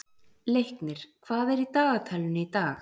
Leiknir, hvað er í dagatalinu í dag?